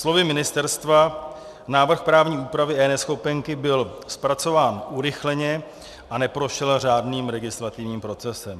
Slovy ministerstva, návrh právní úpravy eNeschopenky byl zpracován urychleně a neprošel řádným legislativním procesem.